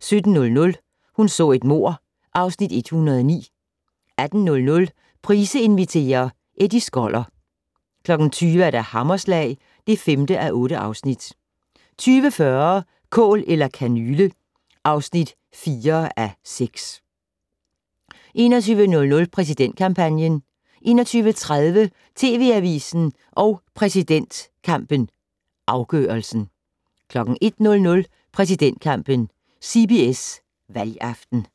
17:00: Hun så et mord (Afs. 109) 18:00: Price inviterer - Eddie Skoller 20:00: Hammerslag (5:8) 20:40: Kål eller kanyle (4:6) 21:00: Præsidentkampen 21:30: TV Avisen og præsidentkampen - afgørelsen 01:00: Præsidentkampen: CBS valgaften